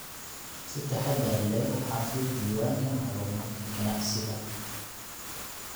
Si taxadar leh u xafid diiwaanka macluumaadka ganacsiga.